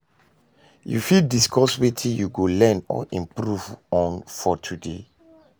You fit discuss wetin you go learn or improve on for today?